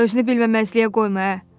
Özünü bilməməzliyə qoyma ə.